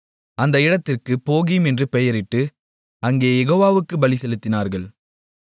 அந்த இடத்திற்கு போகீம் என்று பெயரிட்டு அங்கே யெகோவா வுக்குப் பலிசெலுத்தினார்கள்